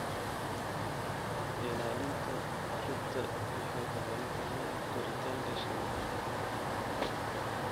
Ilaalinta rugta waxay ku xiran tahay koritaanka shinnida.